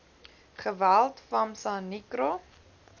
geweld famsa nicro